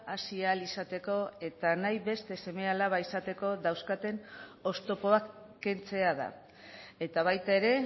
hasi ahal izateko eta nahi beste seme alaba izateko dauzkaten oztopoak kentzea da eta baita ere